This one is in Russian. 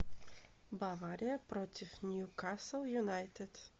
бавария против ньюкасл юнайтед